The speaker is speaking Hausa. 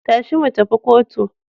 Tashi mu tafi kotu.